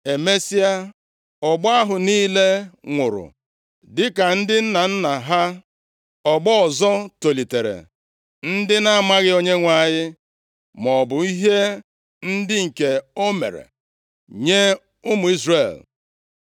Emesịa, ọgbọ ahụ niile nwụrụ dịka ndị nna nna ha, ọgbọ ọzọ tolitere, ndị na-amaghị Onyenwe anyị maọbụ ihe ndị nke o mere + 2:10 Ya bụ, ọrụ ebube nye ụmụ Izrel.